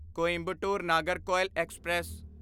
Coimbatore Nagercoil express